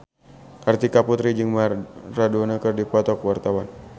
Kartika Putri jeung Maradona keur dipoto ku wartawan